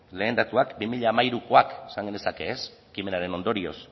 lehen datuak bi mila hamairukoak esan genezake ekimenaren ondorioz